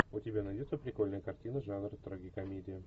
у тебя найдется прикольная картина жанра трагикомедия